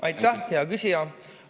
Aitäh, hea küsija!